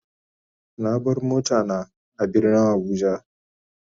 Na bar mota na a birnin kaduna.